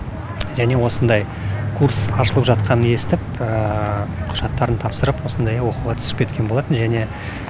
және осындай курс ашылып жатқанын естіп құжаттарын тапсырып осындай оқуға түсіп кеткен болатын және